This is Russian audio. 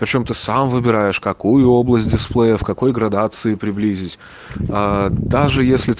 почём ты сам выбираешь какую область дисплея в какой градации приблизились э даже если